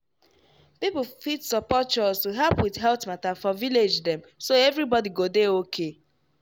people fit support chws to help with health matter for village dem so everybody go dey okay.